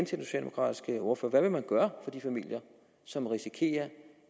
socialdemokratiske ordfører hvad vil man gøre for de familier som risikerer